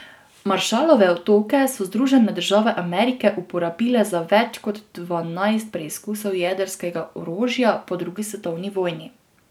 Maršalove otoke so Združene države Amerike uporabile za več kot dvanajst preizkusov jedrskega orožja po drugi svetovni vojni.